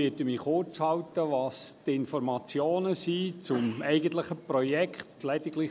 Ich werde mich kurzhalten, was die Informationen zum eigentlichen Projekt anbelangt.